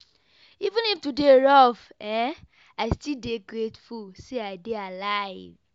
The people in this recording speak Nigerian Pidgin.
Even if today rough, I still dey grateful say I dey alive.